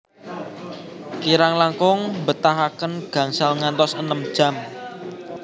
Kirang langkung mbetahaken gangsal ngantos enem jam